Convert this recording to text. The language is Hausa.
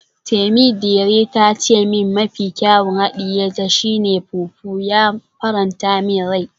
Temidire ta ce min mafi kyawun hadiye ta shi ne fufu, ya faranta min rai.